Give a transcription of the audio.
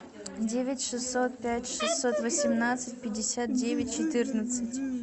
девять шестьсот пять шестьсот восемнадцать пятьдесят девять четырнадцать